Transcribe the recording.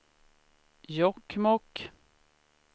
Jokkmokk